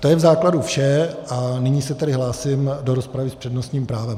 To je v základu vše a nyní se tedy hlásím do rozpravy s přednostním právem.